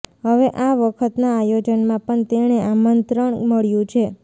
હવે આ વખતના આયોજનમાં પણ તેને આમંત્રણ મળ્યું છે